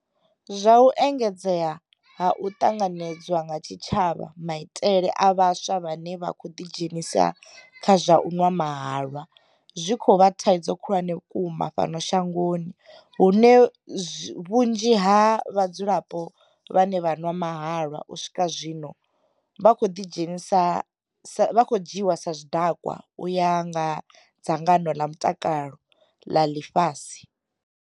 Zwa u engedzea ha u ṱanganedzwa nga tshitshavha maitele a vhaswa vhane vha khou ḓi dzhenisa kha zwa u nwa mahalwa, zwi khou vha thaidzo khulwane vhukuma fhano shangoni hune vhunzhi ha vha dzulapo vhane vha nwa mahalwa u swika zwino vha vho dzhiiwa sa zwidakwa u ya nga dzangano ḽa mutakalo ḽa ḽifhasi.